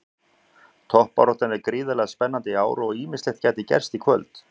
Toppbaráttan er gríðarlega spennandi í ár og ýmislegt gæti gerst í kvöld.